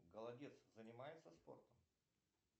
голодец занимается спортом